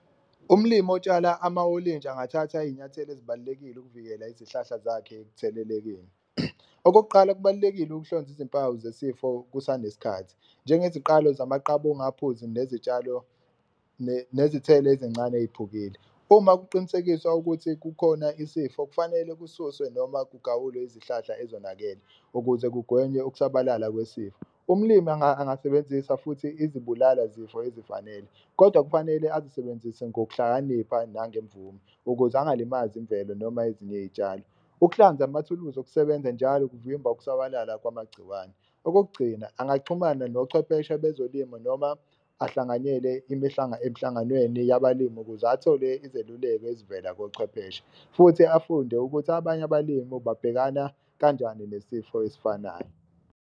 Umlimi otshala amawolintshi angathatha iy'nyathelo ezibalulekile ukuvikela izihlahla zakhe ekuthelelekeni. Okokuqala, kubalulekile ukuhlonza izimpawu zesifo kusaneskhathi njengeziqalo zamaqabunga aphuzi, nezitshalo nezithelo ezincane ey'phukile. Uma kuqinisekiswa ukuthi kukhona isifo, kufanele kususwe noma kugawulwe izihlahla ezonakele ukuze kugwenywe ukusabalala kwesifo. Umlimi angasebenzisa futhi izibulala zifo ezifanele, kodwa kufanele azisebenzise ngokuhlakanipha nangemvume ukuze engalimazi imvelo noma ezinye iy'tshalo. Ukuhlanza amathuluzi okusebenza njalo kuvimba ukusabalala kwamagciwane, okokugcina angaxhumana nochwepheshe bezolimo noma ahlanganyele emhlanganweni yabalimi ukuze athole izeluleko ezivela kochwepheshe. Futhi afunde ukuthi abanye abalimu babhekana kanjani nesifo esifanayo.